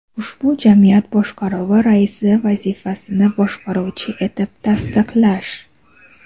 ushbu jamiyat boshqaruvi raisi vazifasini bajaruvchi etib tasdiqlash;.